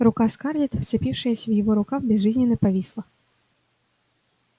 рука скарлетт вцепившаяся в его рукав безжизненно повисла